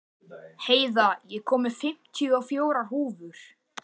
Heiða, ég kom með fimmtíu og fjórar húfur!